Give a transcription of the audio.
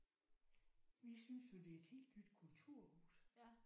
Vi synes jo det er et helt nyt kulturhus